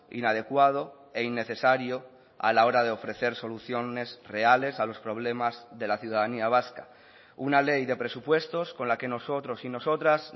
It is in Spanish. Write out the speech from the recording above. inadecuado e innecesario a la hora de ofrecer soluciones reales a los problemas de la ciudadanía vasca una ley de presupuestos con la que nosotros y nosotras